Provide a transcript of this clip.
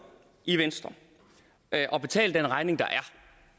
i venstre at at betale den regning der er